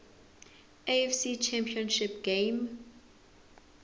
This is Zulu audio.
afc championship game